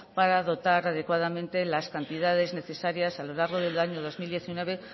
para dotar adecuadamente las cantidades necesarias a lo largo del año dos mil diecinueve